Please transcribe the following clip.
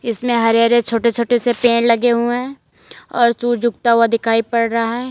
इसमें हरे हरे छोटे छोटे से पेड़ लगे हुए हैं और सुज उगता हुआ दिखाई पड़ रहा है।